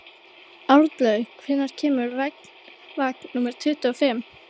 Arnlaug, hvenær kemur vagn númer tuttugu og fimm?